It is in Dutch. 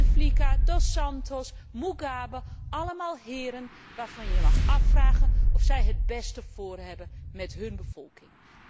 Buteflika, Dos Santos, Mugabe, allemaal heren waarvan je je mag afvragen of zij het beste voor hebben met hun bevolking.